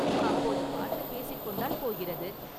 அப்போது பார்த்துப் பேசிக் கொண்டால் போகிறது.